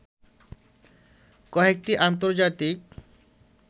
কয়েকটি আন্তজার্তিক